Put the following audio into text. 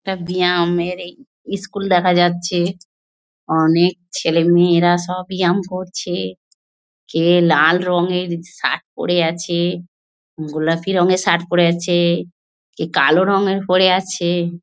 একটা বিয়ামের এর ইস্কুল দেখা যাচ্ছে। অনেক ছেলেমেয়েরা সব বিয়াম করছে। কে লাল রঙের শার্ট পরে আছে গোলাপি রঙের শার্ট পরে আছে কে কালো রঙের পরে আছে।